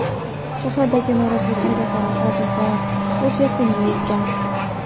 Shahardagi norozilik harakatlari hozirda o‘z yakuniga yetgan.